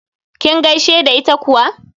Kin gaishe da ita kuwa?